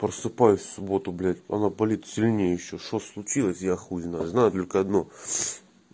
просыпаюсь в субботу блять она полита сильнее ещё что случилось я хуй его знает знаю только одно